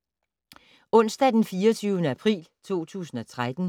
Onsdag d. 24. april 2013